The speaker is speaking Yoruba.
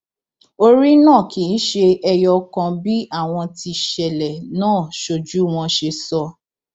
orí náà kì í ṣe ẹyọ kan bí àwọn tíṣẹlẹ náà sójú wọn ṣe sọ